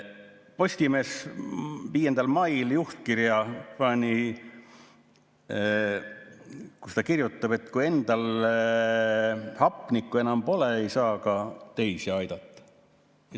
Postimees 5. mai juhtkirjas kirjutas, et kui endal hapnikku enam pole, ei saa ka teisi aidata.